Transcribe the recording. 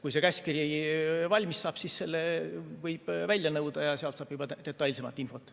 Kui see käskkiri valmis saab, siis selle võib välja nõuda ja sealt saab juba detailsemat infot.